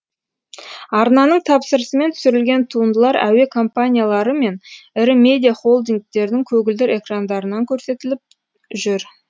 арнаның тапсырысымен түсірілген туындылар әуе компаниялары мен ірі медиа холдингтердің көгілдір экрандарынан көрсетіліп жүр